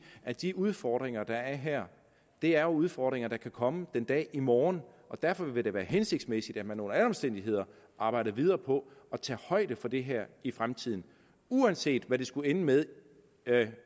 at de udfordringer der er her er udfordringer der kan komme den dag i morgen og derfor vil det være hensigtsmæssigt at man under alle omstændigheder arbejder videre på at tage højde for det her i fremtiden uanset hvad det skulle ende med